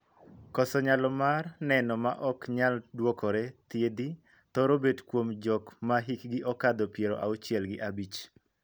Koso nyalo mar neno ma ok nyal duokore (thiedhi) thoro bet kuom jok ma hikgi okadho piero auchiel gi abich.